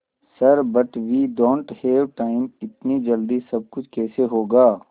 sir but we don't have time इतनी जल्दी सब कुछ कैसे होगा